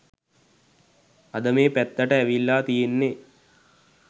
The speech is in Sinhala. අද මේ පැත්තට ඇවිල්ල තියෙන්නෙ